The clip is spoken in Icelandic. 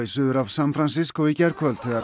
suður af San Francisco í gærkvöld þegar